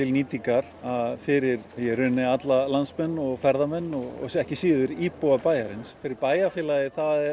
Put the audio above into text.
nýtingar fyrir alla landsmenn og ferðamenn og ekki síður íbúa bæjarins fyrir bæjarfélagið